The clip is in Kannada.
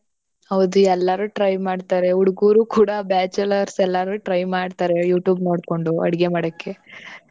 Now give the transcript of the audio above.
ಹೌದು ಎಲ್ಲರೂ try ಮಾಡ್ತಾರೆ. ಹುಡ್ಗೂರು ಕೂಡ bachelors ಎಲ್ಲಾರು try ಮಾಡ್ತಾರೆ youtube ನೋಡ್ಕೊಂಡು ಅಡ್ಗೆ ಮಾಡಕ್ಕೆ.